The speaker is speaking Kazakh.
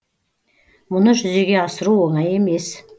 мұны жүзеге асыру оңай емес